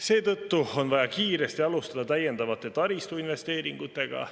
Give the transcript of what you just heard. Seetõttu on vaja kiiresti alustada täiendavate taristuinvesteeringutega.